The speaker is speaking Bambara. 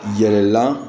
Yɛlɛla